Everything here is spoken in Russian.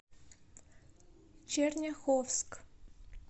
черняховск